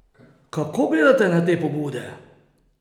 Kako gledate na te pobude?